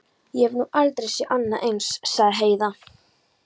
Ég hef nú aldrei séð annað eins, sagði Heiða.